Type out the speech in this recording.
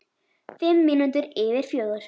Fimm mínútur yfir fjögur.